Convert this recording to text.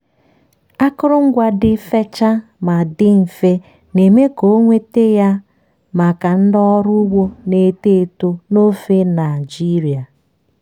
akụrụngwa dị fechaa ma dị mfe na-eme ka ọ nweta ya maka ndị ọrụ ugbo na-eto eto n'ofe nigeria.